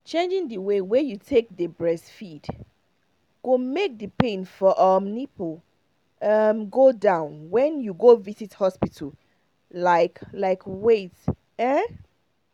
changing the way wey you take dey breastfeed go make the pain for um nipple um go down when una go visit hospital like like wait um